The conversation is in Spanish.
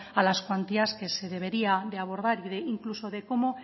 a las cuantías que se debería de abordar o incluso de cómo